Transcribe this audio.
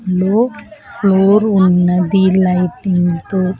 లో ఫ్లోర్ ఉన్నది లైటింగ్ తో.